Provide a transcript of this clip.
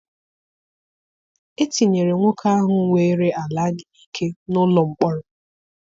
Etinyere nwoke ahụ weere ala anyị n'ike n'ụlọ mkpọrọ.